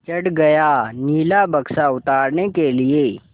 चढ़ गया नीला बक्सा उतारने के लिए